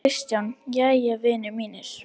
KRISTJÁN: Jæja, vinir mínir!